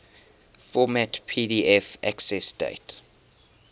format pdf accessdate